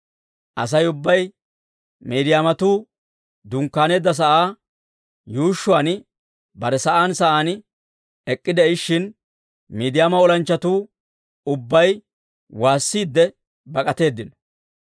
Asay ubbay Miidiyaamatuu dunkkaaneedda sa'aa yuushshuwaan bare sa'aan sa'aan ek'k'ide'ishin, Miidiyaama olanchchatuu ubbay waassiidde bak'atteedino.